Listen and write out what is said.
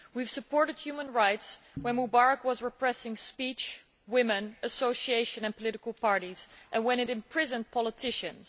We supported human rights when Mubarak was repressing speech, women, association and political parties and when he imprisoned politicians.